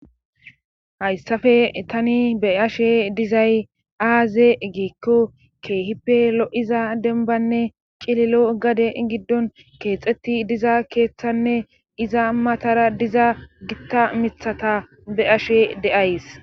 hayssafe tani be ashe dizay aaze giikko keehipe lo7iza denbanne qililo gade giddon keexetti diza keeththanne iza matara diza gitta mithata be ashe de7ays